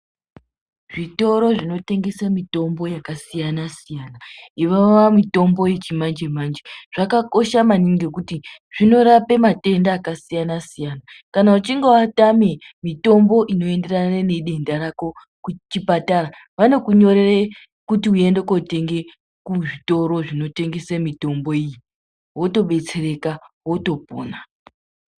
Zvitoro zvinotengese mitombo yakasiyana siyana neiya mitombo yazvinezvi zvakakosha maningi nekuti zvinorape matenda akasiyana siyana. Kana uchinge watame mitombo inoenderana nedenda rako kuchipatara wanokunyorere kuti uende kunotenga kuzvitoro zvinotengesa mitombo iyi wotobetsereka wotopona .